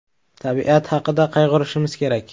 Tabiat haqida qayg‘urishimiz kerak!